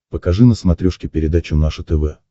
покажи на смотрешке передачу наше тв